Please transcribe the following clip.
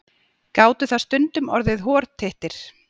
Gátu það stundum orðið hortittir.